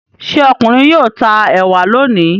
Ṣé ọkùnrin yóò ta ẹ̀wà lónìí?